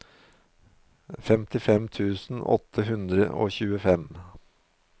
femtifem tusen åtte hundre og tjuefem